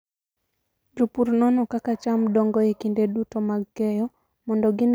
Jopur nono kaka cham dongo e kinde duto mag keyo mondo gine kabe nitie chandruok moro amora.